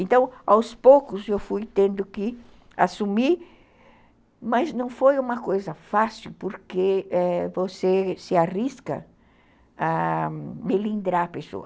Então, aos poucos, eu fui tendo que assumir, mas não foi uma coisa fácil, porque é, você se arrisca a melindrar a pessoa.